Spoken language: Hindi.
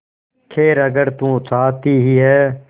खैर अगर तू चाहती ही है